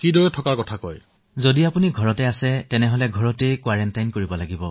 চিকিৎসক মহোদয় যদি আপুনি ঘৰত আছে তেন্তে ঘৰতো আপুনি হোম কোৱাৰেণ্টাইন কৰিব লাগিব